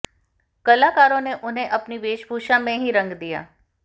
कलाकारों ने उन्हें अपनी वेशभूषा में ही रंग दिया